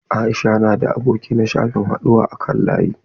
Aisha na da aboki a shafin haɗuwa na kan layi.